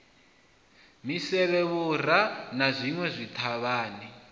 misevhe vhura na zwinwe zwithavhani